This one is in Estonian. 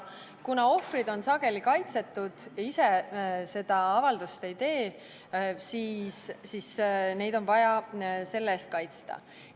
Kuna ohvrid on sageli kaitsetud ja ise seda avaldust ei tee, siis neid on vaja kaitsta.